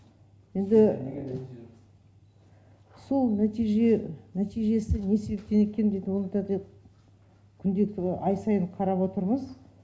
енді сол нәтижесі не себептен екен дейд оны да деп күнделікті ай сайын қарап отырмыз